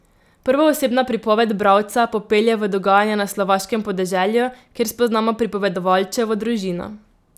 Prvoosebna pripoved bralca popelje v dogajanje na slovaškem podeželju, kjer spoznamo pripovedovalčevo družino.